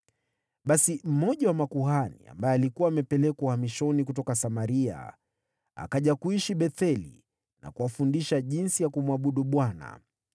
Basi mmoja wa makuhani ambaye alikuwa amepelekwa uhamishoni kutoka Samaria akaja kuishi Betheli na kuwafundisha jinsi ya kumwabudu Bwana .